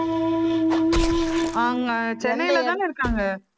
அவங்க சென்னையிலதானே இருக்காங்க?